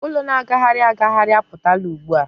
ụlọ na-agagharị agagharị a pụtala ugbua.